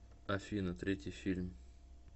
афина третий фильм